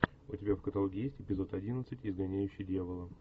у тебя в каталоге есть эпизод одиннадцать изгоняющий дьявола